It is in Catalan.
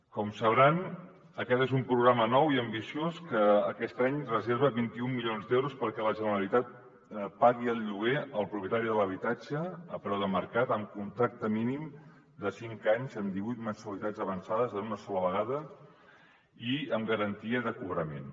com deuen saber aquest és un programa nou i ambiciós que aquest any reserva vint un milions d’euros perquè la generalitat pagui el lloguer al propietari de l’habitatge a preu de mercat amb contracte mínim de cinc anys en divuit mensualitats avançades en una sola vegada i amb garantia de cobrament